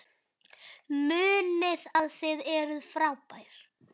Munið að þið eruð frábær!